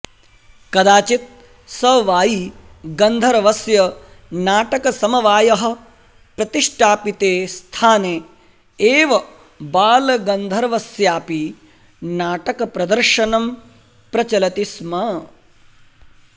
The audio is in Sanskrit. कदाचित् सवायी गन्धर्वस्य नाटकसमवायः प्रतिष्टापिते स्थाने एव बालगन्धर्वस्यापि नाटकप्रदर्शनं प्रचलति स्म